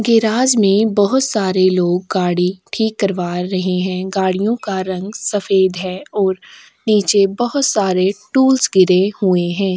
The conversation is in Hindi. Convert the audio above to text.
गिराज में बहुत सारे लोग गाड़ी ठीक करवा रहे हैं। गाड़ियों का रंग सफेद हैं और नीचे बोहोत सारे टूल्स गिरे हुए हैं।